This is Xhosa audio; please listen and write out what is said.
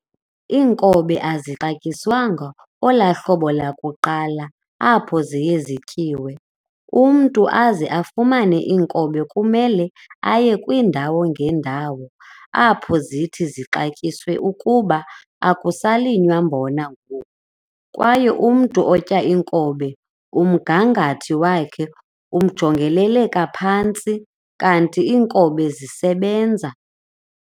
inkobe azixantyiswanga olahlobo lakuqala apho ziye zityiwe. umntu aze afumane inkobe kumele aye kwindawo ngendawo apho zithi zixatyiswe kuba akusalinywa mbona ngoku kwaye umntu otya inkobe umngangathi wakhe ujongeleleka phantsi kanti inkobe zisebenza